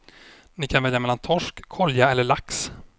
Ni kan välja mellan torsk, kolja eller lax.